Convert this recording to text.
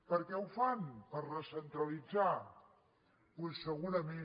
per què ho fan per recentralitzar doncs segura ment